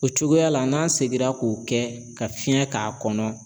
O cogoya la n'an seginna k'o kɛ ka fiɲɛ k'a kɔnɔ